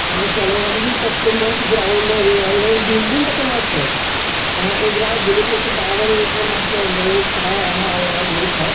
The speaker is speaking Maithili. आये साला यहाँ देखीं कते मस्त ग्राउंड है रे और इधर बिल्डिंग कते मस्त है यहाँ उजला अउ ब्लू कलर के बादल पूरा मस्त लग रहलै हे यही छाव हे अउर आधा धुप है।